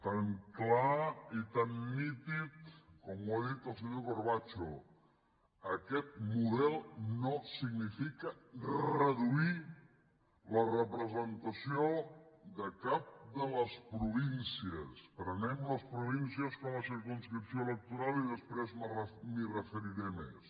tan clar i tan nítid com ho ha dit el senyor corbacho aquest model no significa reduir la representació de cap de les províncies prenem les províncies com a circumscripció electoral i després m’hi referiré més